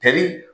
Kɛli